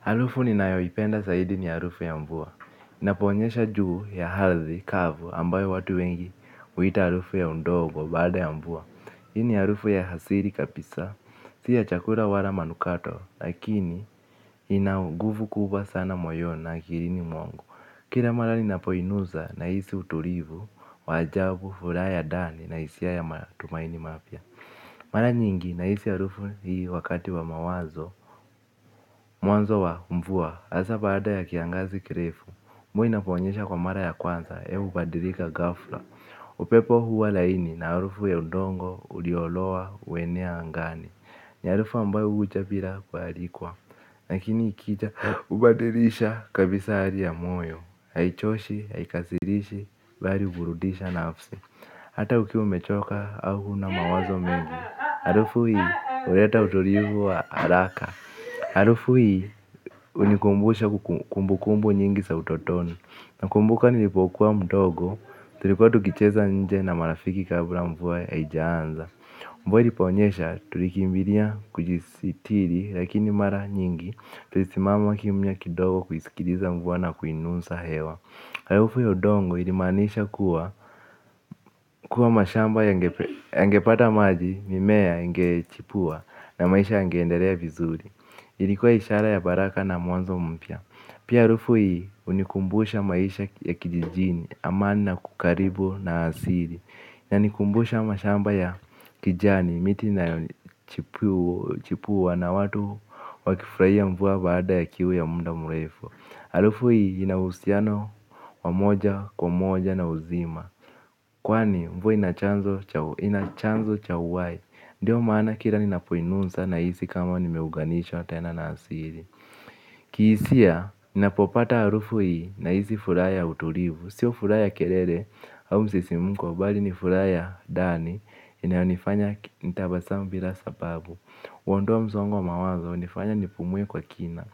Harufu ninayoipenda zaidi ni ya harufu ya mvua. Inaponyesha juu ya ardhi, kavu, ambayo watu wengi huita halufu ya undogo baada ya mvua. Hii ni harufu ya asili kabisa. Si ya chakula wala manukato, lakini ina nguvu kubwa sana moyoni na akilini mwangu. Kila mara ninapoinusa nahisi utulivu, wa ajabu, furaha ya ndani na hisia ya matumaini mapya. Mara nyingi nahisi harufu hii wakati wa mawazo, mwanzo wa mvua. Hasa baada ya kiangazi kirefu. Mvua inaponyesha kwa mara ya kwanza. Hewa hubadikika ghafla. Upepo huwa laini na harufu ya udongo uliolowa huenea angani. Ni harufu ambayo huja bila kualikwa lakini ikija hubadilisha kabisa hali ya moyo. Haichoshi, haikasirishi, bali huburudisha nafsi hata ukiwa umechoka au huna mawazo mengi harufu hii, huleta utulivu wa haraka. Harufu hii hunikumbusha kumbukumbu nyingi za utotoni. Nakumbuka nilipokuwa mdogo. Tulikuwa tukicheza nje na marafiki kabla mvue haijaanza. Mvua iliponyesha tulikimbilia kujisitiri lakini mara nyingi tulisimama kimya kidogo kuisikiliza mvua na kuinusa hewa. Harufu ya udongo ilimaanisha kuwa kuwa mashamba yangepata maji mimea ingechipua na maisha yangeendelea vizuri. Ilikuwa ishara ya baraka na mwanzo mpya. Pia harufu hii hunikumbusha maisha ya kijijini amani na kukaribu na asili. Yanikumbusha mashamba ya kijani miti na chipuwa na watu wakifurahia mvua baada ya kiu ya muda murefu. Harufu hii ina uhusiano wa moja kwa moja na uzima kwani mvua ina chanzo cha uhai. Ndiyo maana kila ninapoinusa nahisi kama nimeunganisha tena na asili. Kihisia, ninapopata harufu hii nahisi furaha ya utulivu. Sio furaha ya kelele au msisimuko bali ni furaha ya ndani inayonifanya nitabasamu bila sababu kuondoa msongo wa mawazo hunifanya nipumue kwa kina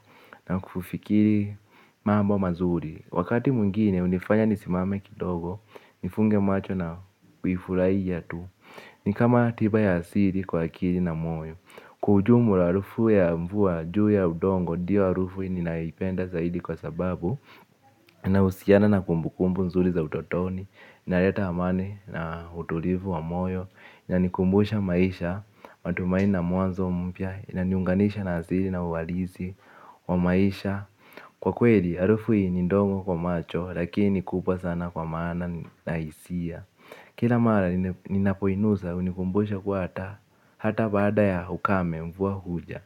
na kufufikiri mambo mazuri. Wakati mwingine hunifanya nisimame kidogo. Nifunge macho na kuifurahia tu. Ni kama tiba ya asili kwa akili na moyo. Kwa ujumla harufu ya mvua juu ya udongo ndiyo harufu ninayoipenda zaidi kwa sababu nahusiana na kumbu kumbu nzuri za utotoni na leta amani na utulivu wa moyo. Inanikumbusha maisha matumaini na mwanzo mpya inaniunganisha na asili na uhalisi wa maisha. Kwa kweli, harufu hii ni ndogo kwa macho lakini kubwa sana kwa maana na hisia. Kila mara ninapoinusa hunikumbosha kuwa hata baada ya ukame mvua huja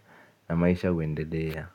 na maisha huendedea.